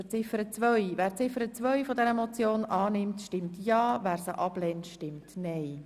Wer Ziffer 2 als Motion annimmt, stimmt Ja, wer dies ablehnt, stimmt Nein.